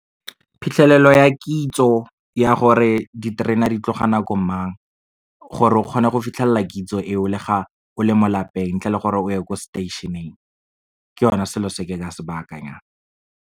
Phitlhelelo ya kitso ya gore, diterena di tloga nako mang. Gore o kgone go fitlhelela kitso eo le ga o le mo lapeng, ntle le gore o ye ko stationeng. Ke yone selo se ke ka se bakanyang.